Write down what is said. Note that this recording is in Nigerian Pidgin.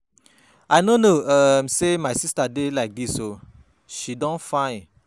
I no know um say my sister dey like dis oo, she don fine.